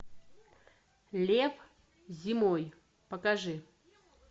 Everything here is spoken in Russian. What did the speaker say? лев зимой покажи